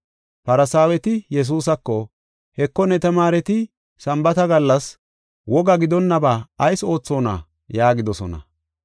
Farsaaweti Yesuusako, “Heko, ne tamaareti Sambaata gallas woga gidonnaba ayis oothonna?” yaagidosona.